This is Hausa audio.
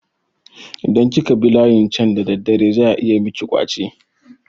Idan kika bi layin can da daddare za ayi miki ƙwace.